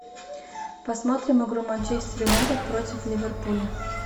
посмотрим игру манчестер юнайтед против ливерпуля